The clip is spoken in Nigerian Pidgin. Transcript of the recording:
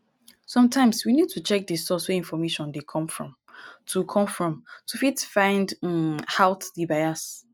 sometimes we need to check di source wey information dey come from to come from to fit find um out di bias